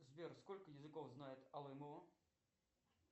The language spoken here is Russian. сбер сколько языков знает алымова